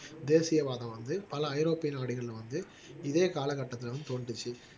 தேசியவாதம் வந்து பல ஐரோப்பிய நாடுகள்ல வந்து இதே காலகட்டத்துல வந்து தோன்றிச்சு